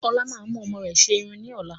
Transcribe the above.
Ọlá máa mú ọmọ rẹ wà ṣe irun ni ọ̀la